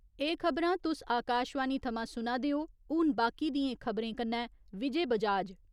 एह खबरां तुस आकाशवाणी थमां सुना दे ओ, हुन बाकी दियें खब'रे कन्नै विजय बजाज।